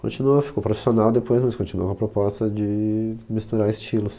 Continuou, ficou profissional depois, mas continuou com a proposta de misturar estilos.